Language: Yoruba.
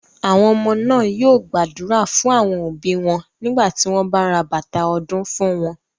Àwọn ọmọ náà yóò gbàdúrà fún àwọn òbí wọn nígbà tí wọ́n bá ra bàtà ọdún fún wọn.